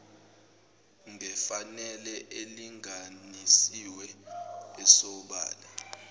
ngefanele elinganisiwe esobala